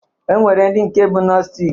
E nwere ndị nke bụ nostic